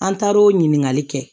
An taar o ɲininkali kɛ